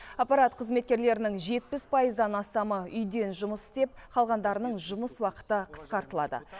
аппарат қызметкерлерінің жетпіс пайыздан астамы үйден жұмыс істеп қалғандарының жұмыс уақыты қысқартылады